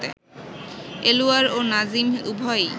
এলুয়ার ও নাজিম উভয়েই